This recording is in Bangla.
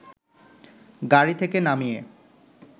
গাড়ি থেকে নামিয়ে